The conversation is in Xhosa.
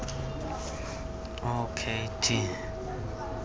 o k t